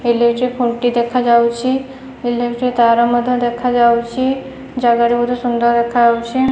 Electric ଖୁଣ୍ଟି ଦେଖାଯାଉଚି। Electric ତାର ମଧ୍ୟ ଦେଖାଯାଉଚି। ଜାଗାଟି ବୋହୁତ ସୁନ୍ଦର ଦେଖାହୋଉଚି।